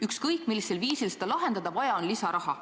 Ükskõik millisel viisil seda lahendada, vaja on lisaraha.